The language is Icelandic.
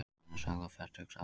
Móðirin er sögð á fertugsaldri